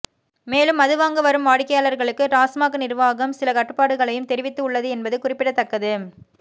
மேலும் மது வாங்க வரும் வாடிக்கையாளர்களுக்கு டாஸ்மாக் நிர்வாகம் சில கட்டுப்பாடுகளையும் தெரிவித்து உள்ளது என்பது குறிப்பிடத்தக்கது